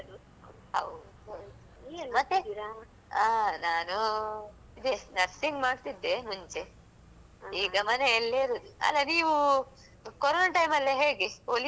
ಅ ನಾನೂ ಇದೆ nursing ಮಾಡ್ತಿದ್ದೆ ಮುಂಚೆ ಈಗ ಮನೆಯಲ್ಲೇ ಇರುದು ಅಲ ನೀವೂ ಕೊರೊನ time ಎಲ್ಲ ಹೇಗೆ ಹೊಲಿತಿದ್ರ ಹೇಗೆ ಅಂಗಡಿ ಇತ್ತಲ್ಲ ನಿಮ್ದು.